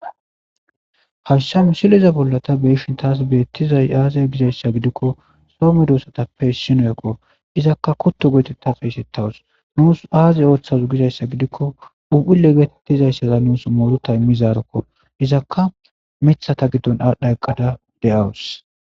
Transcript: Hayssa misileza bolla ta be'ishin de'izayssi aaze giza gidikko soo medosatappe issiniyokko. Izakka kutto geetetta xeysetawus. Nuusu aazi ooththazu gizayssa gidikko phuuphulle geetettizayssa nuusi muuruta immizarokko. Izakka miththata giddon aadhdha eqqada de'awus.